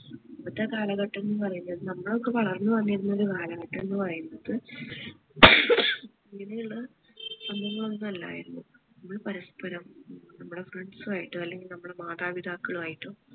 ഇന്നത്തെ കാലഘട്ടം എന്ന് പറയുന്നത് നമ്മൾ ഒക്കെ വളർന്ന് വന്നിരുന്ന ഒരു കാലഘട്ടം എന്നു പറയുന്നത് ഇങ്ങനെ ഉള്ള സംഭവങ്ങൾ ഒന്നും അല്ലായിരുന്നു നമ്മൾ പരസ്പ്പരം നമ്മളെ friends മായിട്ട് അല്ലെങ്കിൽ നമ്മളെ മാതാപിതാക്കളുമായിട്ടോ